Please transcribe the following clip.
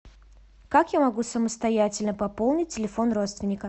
как я могу самостоятельно пополнить телефон родственника